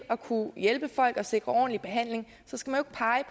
at kunne hjælpe folk og sikre ordentlig behandling så skal